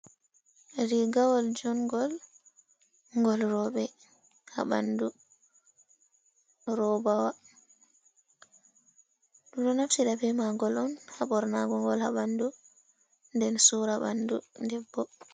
Rigawal jungol, gol robe habandu robawa dumdo naftira be ma gol on habornago gol habandu den sura bandu debbo.